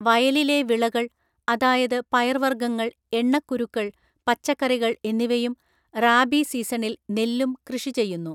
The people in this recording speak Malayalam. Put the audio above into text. വയലിലെ വിളകൾ, അതായത് പയർവർഗ്ഗങ്ങൾ, എണ്ണക്കുരുക്കൾ, പച്ചക്കറികൾ എന്നിവയും റാബി സീസണിൽ നെല്ലും കൃഷി ചെയ്യുന്നു.